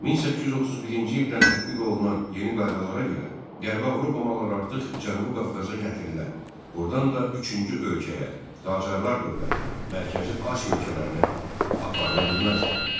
1831-ci ildən tətbiq olunan yeni qaydalara görə Qərbi Avropa malları artıq Cənubi Qafqaza gətirilə, burdan da üçüncü ölkəyə, Qacarlar dövlətinə, Mərkəzi Asiya ölkələrinə aparıla bilməzdi.